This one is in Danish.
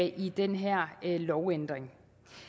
i den her lovændring